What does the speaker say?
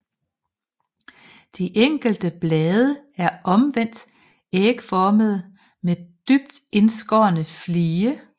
De enkelte blade er omvendt ægformede med dybt indskårne flige